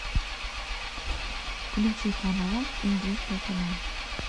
включи канал индийское кино